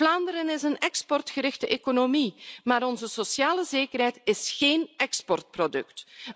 Vlaanderen is een exportgerichte economie, maar onze sociale zekerheid is geen exportproduct!